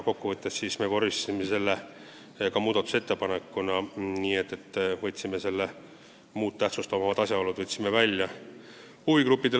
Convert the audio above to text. Kokkuvõttes vormistasime selle ka muudatusettepanekuna, nii et võtsime selle "muud tähtsust omavad asjaolud" välja.